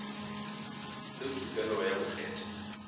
le tokelo ya go kgetha